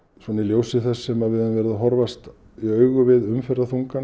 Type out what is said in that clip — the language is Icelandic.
svona í ljósi þess sem við höfum horfast í augu við umferðarþunga